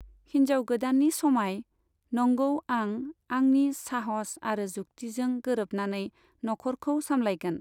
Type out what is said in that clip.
हिनजाव गोदाननि समाय, नंगौ, आं आंनि साहस आरो जुक्तिजों गोरोबनानै नखरखौ सामलायगोन।